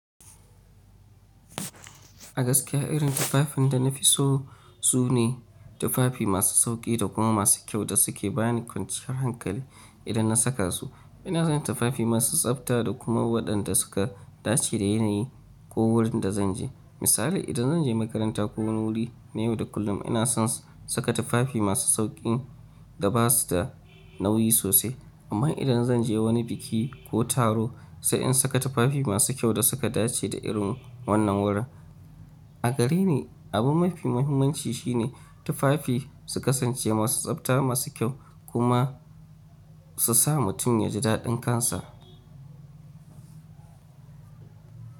A gaskiya irin tufafin da na fi so, su ne tufafi masu sauƙi da kuma masu kyau da suke bani kwanciyar hankali, idan na saka su. Ina son tufafi masu tsafta, da kuma waɗanda suka dace da yanayi, ko wurin da zan je. Misali idan zan je makaranta ko wani wuri na yau da kullum, ina son saka tufafi masu sauƙin da ba su da nauyi sosai, amma idan zan je wani biki ko taro sai in saka tufafi masu kyau da suka dace da irin wannan wurin. A gare ni, abun mafi muhimmanci shine, tufafi su kasance masu tsafta, masu kyau, kuma, su sa mutum yaji daɗin kansa.